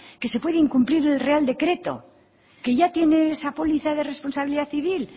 que se puede incumplir el real decreto que ya tiene esa póliza de responsabilidad civil